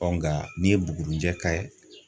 nka n'i ye buguruni jɛ k'a ye